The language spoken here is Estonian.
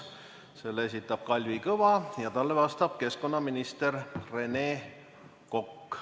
Selle esitab Kalvi Kõva ja talle vastab keskkonnaminister Rene Kokk.